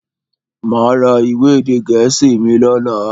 Máa ra ìwé èdè gẹ̀ẹ́sì mi lọ́la.